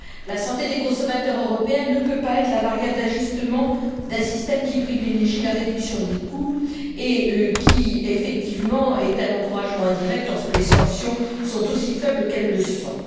La santé des consommateurs européens ne peut pas être la variable d'ajustement d'un système qui privilégie la réduction des coûts et qui, effectivement, est un encouragement indirect lorsque les sanctions sont aussi faibles qu'elles le sont.